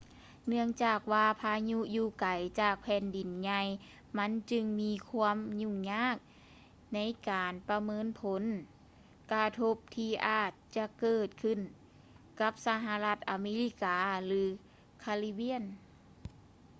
ເນື່ອງຈາກວ່າພາຍຸຢູ່ໄກຈາກແຜ່ນດິນໃຫຍ່ມັນຈຶ່ງມີຄວາມຫຍຸ້ງຍາກໃນການປະເມີນຜົນກະທົບທີ່ອາດຈະເກີດຂື້ນກັບສະຫະລັດອາເມລິກາ ຫຼື ຄາຣິບຽນ